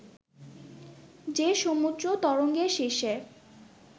যে সমুদ্র তরঙ্গের শীর্ষে